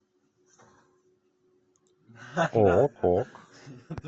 ок ок